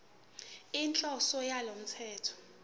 inhloso yalo mthetho